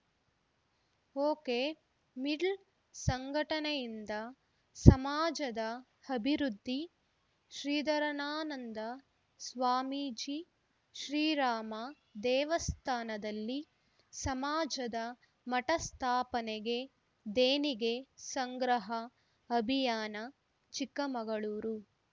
okay ಮಿಡ್ಲ್‌ ಸಂಘಟನೆಯಿಂದ ಸಮಾಜದ ಅಭಿವೃದ್ಧಿ ಶ್ರೀಧರಾನಂದ ಸ್ವಾಮೀಜಿ ಶ್ರೀರಾಮ ದೇವಸ್ಥಾನದಲ್ಲಿ ಸಮಾಜದ ಮಠ ಸ್ಥಾಪನೆಗೆ ದೇಣಿಗೆ ಸಂಗ್ರಹ ಅಭಿಯಾನ ಚಿಕ್ಕಮಗಳೂರು